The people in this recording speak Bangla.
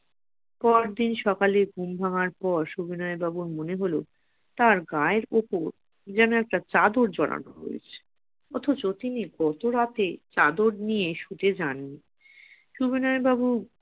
পরদিন সকালে ঘুম ভাঙার পর সুবিনয় বাবুর মনে হল তার গায়ের উপর কি যেন একটা চাদর জড়ানো হয়েছে অথচ তিনি গতরাতে চাদর নিয়ে শুতে যাননি